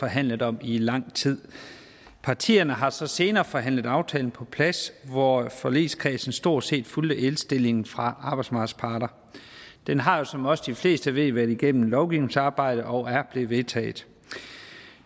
forhandlet om i lang tid partierne har så senere forhandlet aftalen på plads hvor forligskredsen stort set fulgte indstillingen fra arbejdsmarkedets parter den har jo som også de fleste ved været igennem lovgivningsarbejdet og er blevet vedtaget